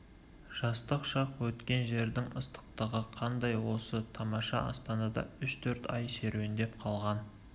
жастық шақ өткен жердің ыстықтығы қандай осы тамаша астанада үш-төрт ай серуендеп қалған